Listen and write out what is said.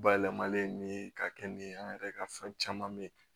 Bayɛlɛmalen nin ye ka kɛ nin ye an yɛrɛ ka fɛn caman mɛ